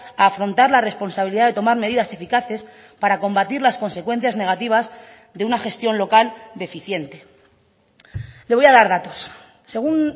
a afrontar la responsabilidad de tomar medidas eficaces para combatir las consecuencias negativas de una gestión local deficiente le voy a dar datos según